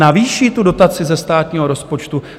Navýší tu dotaci ze státního rozpočtu?